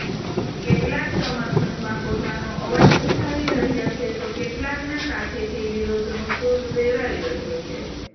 કેટલાક સમર્થનમાં પોતાનો અવાજ ઉઠાવી રહ્યા છે તો કેટલાકના કાંઠેથી વિરોધનો સુર રેલાઈ રહ્યો છે